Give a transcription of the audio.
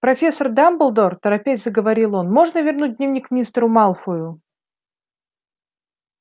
профессор дамблдор торопясь заговорил он можно вернуть дневник мистеру малфою